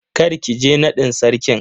Kar ki je nadin Sarkin.